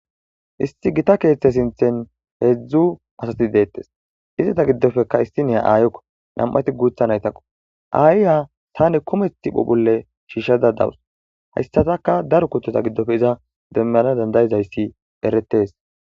Isti gita keeththe sinthen heedzdzu asati deettes istata giddofeka issiniya aayokko nam'ati guutha naytakko aayiya sane kumethth phophulle shiishshada dawus hayssataka daro kutota giddofe iza demmeanaa dandayizayssi eretes.